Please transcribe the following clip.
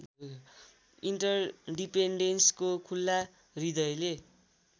इन्टर्डिपेन्डेनसको खुल्ला हृदयले